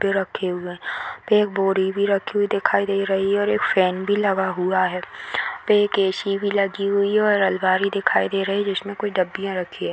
पे रखे हुए है | यहाँ पे एक बोड़ी भी रखी हुई दिखाई दे रही है और एक फैन भी लगा हुआ है | यहाँ पे एक ऐ.सी. भी लगी हुई है और आलमारी दिखाई दे रही है जिसमें कुछ डबिया रखी है |